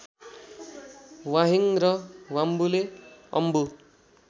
वाहेङ र वाम्बुले अम्बु